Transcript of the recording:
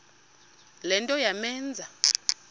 le nto yamenza